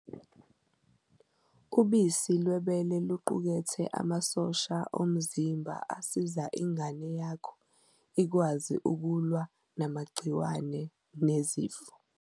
Ubisi lwebele luqukethe amasosha omzimba asiza ingane yakho ikwazi ukulwa namagciwane nezifo.